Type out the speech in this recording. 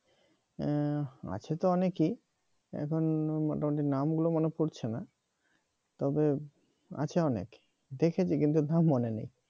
হুম আছে তো অনেকেই এখন মোটামুটি নাম গুলো মনে পড়ছে না তবে আছে অনেক দেখেছি কিন্তু নাম মনে নেই।